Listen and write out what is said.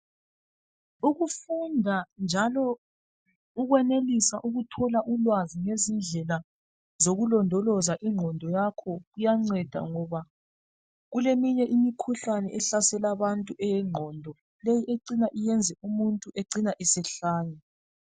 Ukufunda njalo ukwenelisa ukuthola ulwazi ngezinye indlela zokulondoloza ingqondo yakho iyanceda. Ngoba kuleminye imikhuhlane ehlasela abantu eyengqondo, umuntu ecina esehlanya.